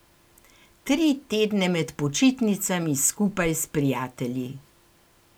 Tri tedne med počitnicami, skupaj s prijatelji.